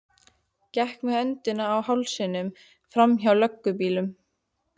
Gekk með öndina í hálsinum framhjá löggubílnum.